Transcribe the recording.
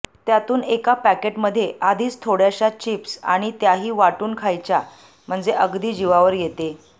त्यातून एका पॅकेटमध्ये आधीच थोड्याश्या चिप्स आणि त्याही वाटून खायच्या म्हणजे अगदी जीवावर येते